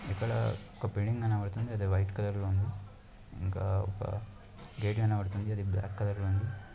ఇక్కడ ఒక బిల్డింగ్ కనపడుతుంది. అది వైట్ కలర్ లో ఉంది. ఇంకా ఒక గేట్ కనబడుతుంది. అది బ్లాక్ కలర్ లో ఉంది.